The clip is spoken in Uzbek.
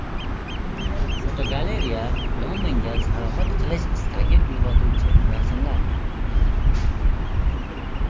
Fotogalereya: Londonga sayohat qilish istagini uyg‘otuvchi rasmlar.